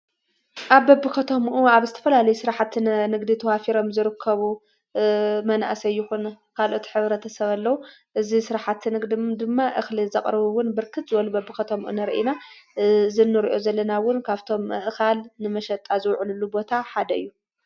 ኣብ በብኸቶምኡ ኣብ ዝተፈላለዩ ሥራሓትን ንግዲ ተዋፊሮም ዝርከቡ መናእሰይኹን ካልኦት ኅብረ ተሰበለዉ እዝ ሥርሓት ንግ ድማ እኽሊ ዘቕርቡውን ብርክዝወል በ ኣብ ኸቶምኡ ንርኢና ዝኑርዮ ዘለናውን ካብቶም እኻል ንመሸጣ ዘውዕልሉ ቦታ ሓደ እዩተ